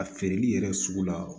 A feereli yɛrɛ sugu la